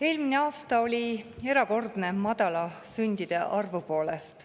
Eelmine aasta oli erakordne madala sündide arvu poolest.